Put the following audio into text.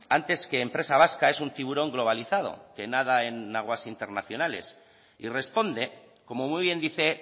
antes que empresa vasca es un tiburón globalizado que nada en aguas internacionales y responde como muy bien dice